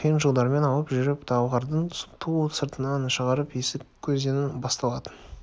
қиын жолдармен алып жүріп талғардың ту сыртынан шығарып есік өзенінің басталатын